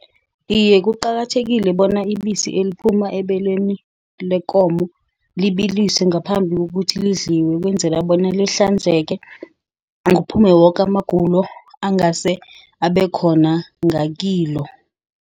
Iye, kuqakathekile bona ibisi eliphuma ebeleni lekomo libiliswe, ngaphambi kokuthi lidliwe. Ukwenzela bona lihlanzeke, kuphume woke amagulo angase abekhona ngakilo.